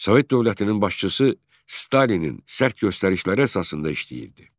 Sovet dövlətinin başçısı Stalinin sərt göstərişləri əsasında işləyirdi.